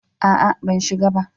A'a, ban shiga ba.